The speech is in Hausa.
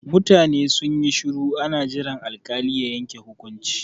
Mutane sun yi shuru ana jiran alkali ya yanke hukunci.